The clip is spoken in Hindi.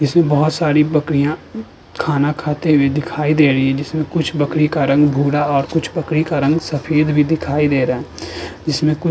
इसमें बोहोत सारी बकरियां खाना खाते हुए दिखाई दे रही हैं जिसमें कुछ बकरी का रंग भूरा और कुछ बकरी का रंग सफेद भी दिखाई रहा है। इसमें कुछ --